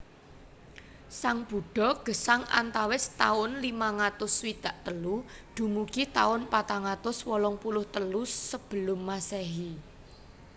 Sang Buddha gesang antawis taun limang atus swidak telu dumugi taun patang atus wolung puluh telu Sebelum Masehi